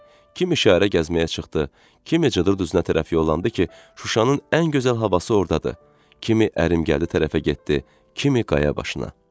Kimi işarə gəzməyə çıxdı, kimi Cıdır düzünə tərəf yollandı ki, Şuşanın ən gözəl havası ordadır, kimi ərim gəldi tərəfə getdi, kimi qaya başına.